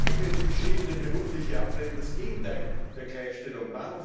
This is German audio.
Folglich wäre die beschriebene berufliche Ablehnung das Gegenteil der Gleichstellung.